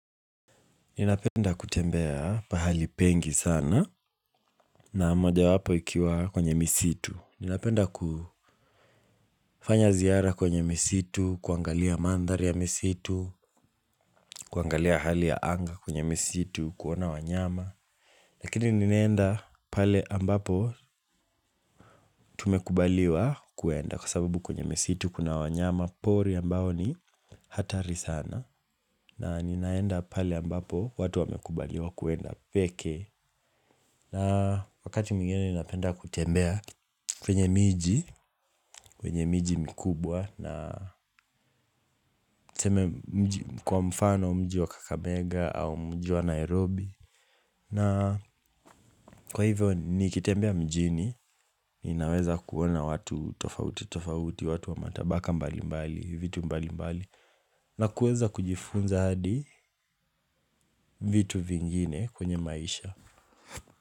Ninapenda kutembea pahali pengi sana na mojawapo ikiwa kwenye misitu. Ninapenda kufanya ziara kwenye misitu, kuangalia mandhari ya misitu, kuangalia hali ya anga kwenye misitu, kuona wanyama. Lakini ninaenda pale ambapo tumekubaliwa kuenda kwa sababu kwenye misitu kuna wanyama pori ambao ni hatari sana. Na ninaenda pale ambapo watu wamekubaliwa kwenda pekee. Na wakati mwingine ninapenda kutembea kwenye miji, kwenye miji mikubwa na kwa mfano mji wa Kakabega au mji wa Nairobi. Na kwa hivyo nikitembea mjini, inaweza kuona watu tofauti tofauti, watu wa matabaka mbali mbali, vitu mbali mbali. Na kuweza kujifunza hadi vitu vingine kwenye maisha.